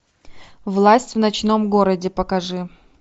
власть в ночном городе покажи